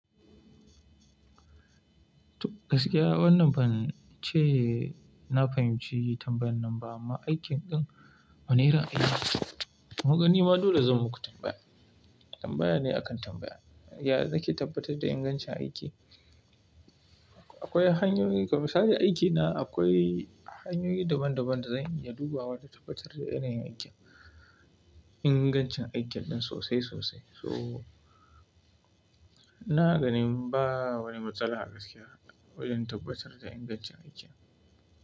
Gaskiya wannan ban ce na fahimci tambayan nan ba amma aikin ɗin wane irin aiki? Kunga nima dole zan muku tambaya. Tambaya ne akan tambaya. Ya zaki tabbatar da ingancin aiki? Akwai hanyoyi, ga misali aiki na akwai hanyoyi daban-daban da zanyi ya duba wa im tabbatar da yanayin aikin, ingancin aikin ɗin sosai sosai. So ina ganin ba wani matsala gaskiya wajen tabbatar da ingancin aikin.